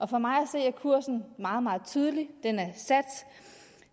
for mig at se er kursen meget meget tydelig den er sat